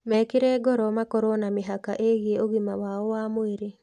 Mekĩre ngoro makorũo na mĩhaka ĩgiĩ ũgima wao wa mwĩrĩ.